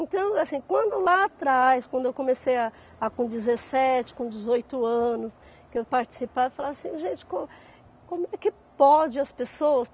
Então, assim, quando lá atrás, quando eu comecei a a com dezessete, com dezoito anos, que eu participava, eu falava assim, gente, como é que pode as pessoas?